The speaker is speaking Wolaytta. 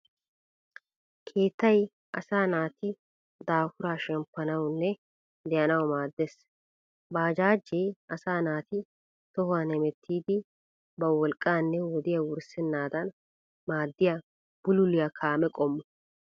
Keettay asaa naati daafuraa shemppanawunne de'anawu maaddees. Baajaajee asaa naati tohuwan hemettiiddi ba wolqqaanne wodiya wurssennaadan maaddiya bululiya kaame qommo.